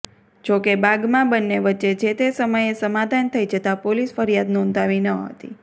જોકે બાગમાં બન્ને વચ્ચે જે તે સમયે સમાધાન થઇ જતા પોલીસ ફરિયાદ નોંધાવી ન હતી